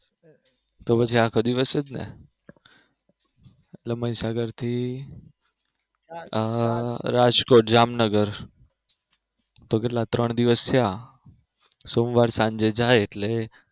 તો પછી આખો દિવસ જ ને મહીસાગર થી રાજકોટ જામનગર તો કેટલા ત્રણ દિવસ થયા સોમવારે સાંજે જાય એટલે